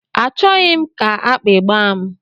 A chọghị m ka akpi gbaa m.